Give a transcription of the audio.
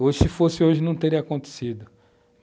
Hoje, se fosse hoje, não teria acontecido.